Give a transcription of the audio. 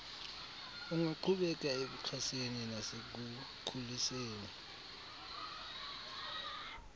ungaqhubeka ekuxhaseni nasekukhuliseni